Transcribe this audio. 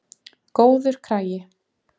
Góður kragi.